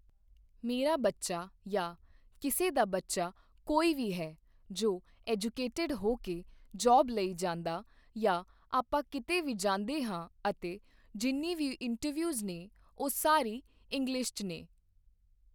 ਮੇਰਾ ਬੱਚਾ ਯਾ ਕਿਸੇ ਦਾ ਬੱਚਾ ਕੋਈ ਵੀ ਹੈ ਜੋ ਐਜੂਕੇਟਡ ਹੋ ਕੇ ਜੋਬ ਲਈ ਜਾਂਦਾ ਯਾ ਆਪਾਂ ਕਿਤੇ ਵੀ ਜਾਂਦੇ ਹਾਂ ਅਤੇ ਜਿੰਨੀ ਵੀ ਇੰਟਰਵਿਊਜ਼ ਨੇ ਉਹ ਸਾਰੀ ਇੰਗਲਿਸ਼ 'ਚ ਨੇ